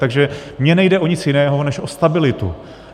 Takže mně nejde o nic jiného než o stabilitu.